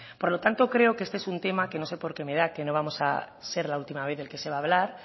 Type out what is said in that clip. por lo tanto creo que este es un tema que no sé por qué me da que no va a ser la última vez del que se va a hablar